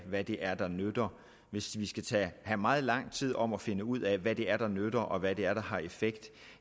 hvad det er der nytter hvis vi skal tage meget lang tid om at finde ud af hvad det er der nytter og hvad det er der har effekt